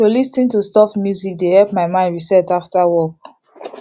to lis ten to soft music dey help my mind reset after work